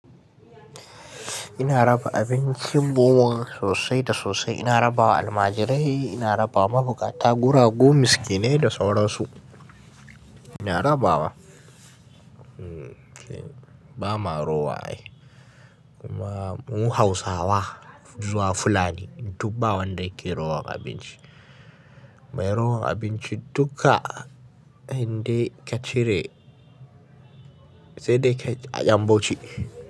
Ina raba abincin ɓuwan sosai da sosai. Ina rabawa almajirai, ina rabawa mabukata, guragu, miskinai da sauran su. Ina rabawa ba marowa ai. Kuma mu Hausawa zuwa fulani, duk bawanda ke rowan abinci. Mai rowan abinci dukka indai ka cire sai dai ya bauchi.